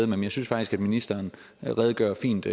men jeg synes faktisk at ministeren redegør fint